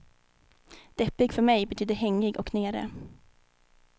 Deppig för mig betyder hängig och nere.